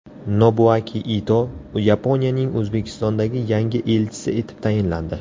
Nobuaki Ito Yaponiyaning O‘zbekistondagi yangi elchisi etib tayinlandi.